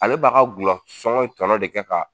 Ale b'a ka dulɔ sɔŋɔ in tɔnɔ de kɛ ka